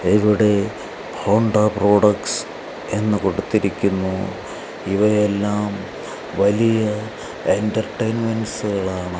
ഇവിടെ Honda products എന്ന് കൊടുത്തിരിക്കുന്നു ഇവയെല്ലാം വലിയ എന്റർടൈൻമെന്റ്സുകളാണ് .